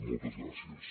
moltes gràcies